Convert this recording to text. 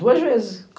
Duas vezes.